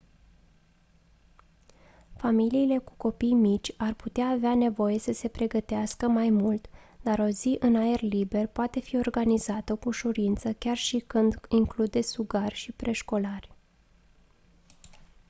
familiile cu copii mici ar putea avea nevoie să se pregătească mai mult dar o zi în aer liber poate fi organizată cu ușurință chiar și când include sugari și preșcolari